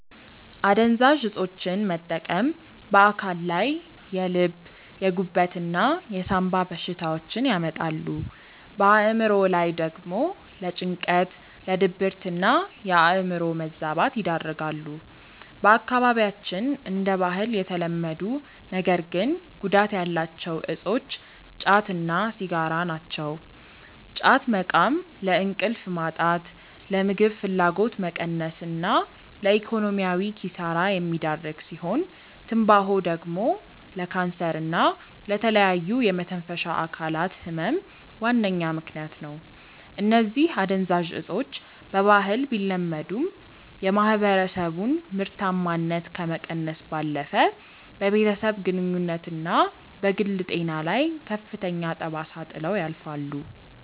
አደንዛዥ እፆችን መጠቀም በአካል ላይ የልብ፣ የጉበት እና የሳምባ በሽታዎችን ያመጣሉ፣ በአእምሮ ላይ ደግሞ ለጭንቀት፣ ለድብርትና የአእምሮ መዛባት ይዳርጋሉ። በአካባቢያችን እንደ ባህል የተለመዱ ነገር ግን ጉዳት ያላቸው እፆች ጫት እና ሲጋራ ናቸው። ጫት መቃም ለእንቅልፍ ማጣት፣ ለምግብ ፍላጎት መቀነስ እና ለኢኮኖሚያዊ ኪሳራ የሚዳርግ ሲሆን፤ ትንባሆ ደግሞ ለካንሰር እና ለተለያዩ የመተንፈሻ አካላት ህመም ዋነኛ ምከንያት ነው። እነዚህ አደንዛዥ እፆች በባህል ቢለመዱም፣ የማህበረሰቡን ምርታማነት ከመቀነስ ባለፈ በቤተሰብ ግንኙነትና በግል ጤና ላይ ከፍተኛ ጠባሳ ጥለው ያልፋሉ።